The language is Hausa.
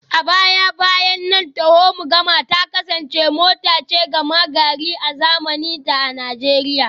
A baya-bayan nan taho-mu-gama ta kasance mota ce gama-gari a zamanin da a Najeriya